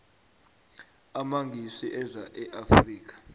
amangisi eza e afrika